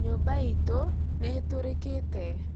Nyũmba itũ nĩ ĩtorikite